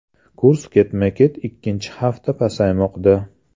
Kurs ketma-ket ikkinchi hafta pasaymoqda.